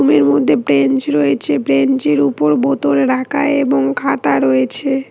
রুমের এর মধ্যে বেঞ্চ রয়েছে ব্রেঞ্চের উপর বোতল রাখা এবং খাতা রয়েছে।